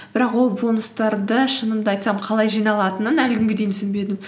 бірақ ол бонустарды шынымды айтсам қалай жиналатынын әлі күнге дейін түсінбедім